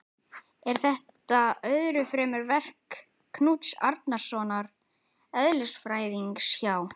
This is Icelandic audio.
Er þetta öðru fremur verk Knúts Árnasonar eðlisfræðings hjá